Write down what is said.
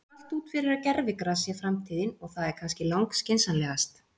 Það lítur allt út fyrir að gervigras sé framtíðin og það er kannski lang skynsamlegast.